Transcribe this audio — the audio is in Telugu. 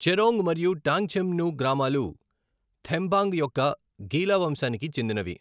చెరోంగ్ మరియు టాంగ్చెన్ము గ్రామాలు థెంబాంగ్ యొక్క గీలా వంశానికి చెందినవి.